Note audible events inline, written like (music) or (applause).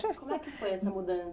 (unintelligible) Como é que foi essa